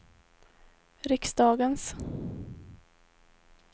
riksdagens